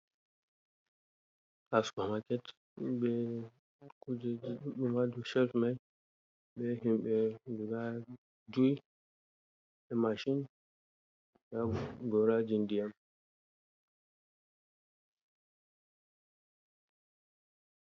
Hasupa maket be kujejiduddum ha der cef mai be himbe guda 5 be machin be gorajin diyam.